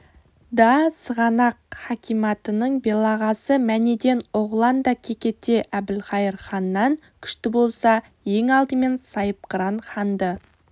да сығанақ хакиматының белағасы манеден-оғлан да кекете әбілқайыр ханнан күшті болса ең алдымен сайыпқыран ханды